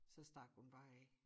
Så stak hun bare af